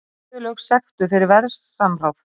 Flugfélög sektuð fyrir verðsamráð